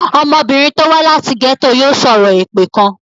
Ọmọbìnrin tó wá láti gẹ́tò yòò sọ̀rọ̀ èpè kan.